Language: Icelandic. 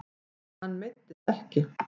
Hann meiddist ekki.